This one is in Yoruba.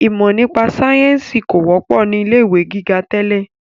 Ìmọ nípa sayẹ́nsi kò wọ́pọ̀ ni ilé ìwé gíga tẹ́lẹ̀